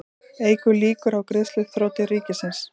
Eykur líkur á greiðsluþroti ríkisins